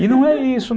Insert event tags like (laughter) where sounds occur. (laughs) E não é isso, não.